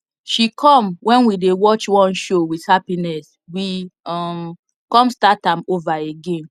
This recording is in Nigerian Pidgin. she come when we dey watch one show with happiness we um come start am over again